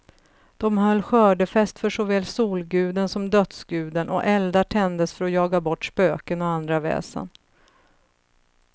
De höll skördefest för såväl solguden som dödsguden, och eldar tändes för att jaga bort spöken och andra väsen.